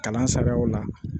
Kalan sagaw la